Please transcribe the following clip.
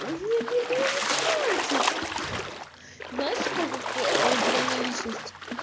нет нехуя не хватит знаешь типа как раздвоение личности